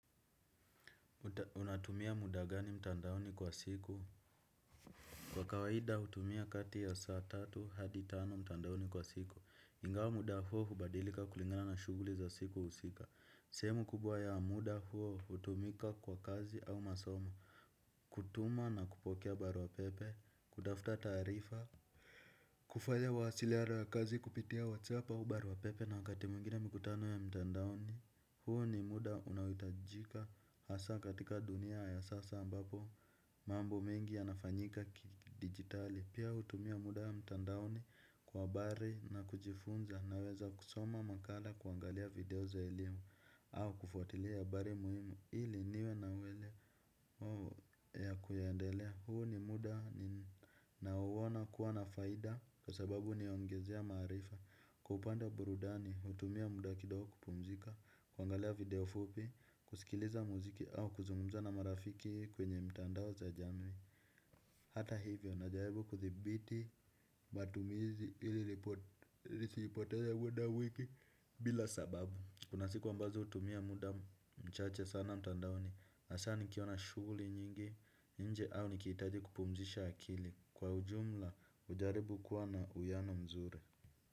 Unatumia muda gani mtandaoni kwa siku? Kwa kawaida hutumia kati ya saa tatu hadi tano mtandaoni kwa siku, ingawa muda huo hubadilika kulingana na shughuli za siku husika, sehemu kubwa ya muda huo hutumika kwa kazi au masomo, kutuma na kupokea barua pepe, kutafuta taarifa kufanya mawasiliano ya kazi kupitia whatsapp au barua pepe na wakati mwingine mikutano ya mtandaoni. Huo ni muda unaohitajika hasa katika dunia ya sasa ambapo mambo mengi yanafanyika kidigitali, pia hutumia muda mtandaoni kwa habari na kujifunza naweza kusoma makala, kuangalia video za elimu au kufuatilia habari muhimu ili niwe na uwelewa ya kuyaendelea, huu ni muda ninaouona kuwa na faida kwa sababu huniongezea maarifa kwa upande wa burudani, hutumia muda kidogo kupumzika, kuangalia video fupi, kusikiliza muziki au kuzungumza na marafiki kwenye mtandao za jamii. Hata hivyo, najaribu kuthibiti matumizi ili nisipoteza muda mwingi bila sababu. Kuna siku ambazo hutumia muda mchache sana mtandaoni, hasa nikiwa na shughuli nyingi nje au nikihitaji kupumzisha akili. Kwa ujumla hujaribu kuwa na uwiano mzuri.